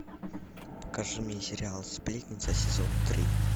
покажи мне сериал сплетница сезон три